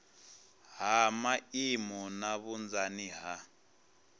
ha maimo na vhunzani ha